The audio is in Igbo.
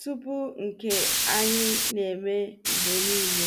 tupu nke anyị na-eme mgbe niile.